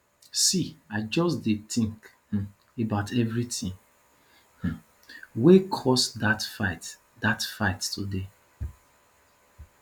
see i just dey tink um about everytin um wey cause dat fight dat fight today